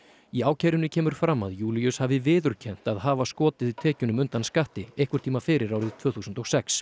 í ákærunni kemur fram að Júlíus hafi viðurkennt að hafa skotið tekjunum undan skatti einhvern tíma fyrir árið tvö þúsund og sex